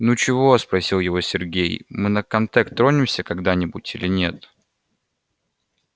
ну чего спросил его сергей мы на комтек тронемся когда-нибудь или нет